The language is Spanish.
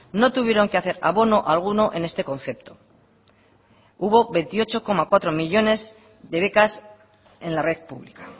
no tuvieron que hacer abono alguno en este concepto hubo veintiocho punto cuatro millónes de becas en la red pública